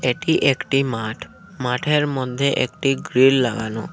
এটি একটি মাঠ মাঠের মধ্যে একটি গ্রীল লাগানো।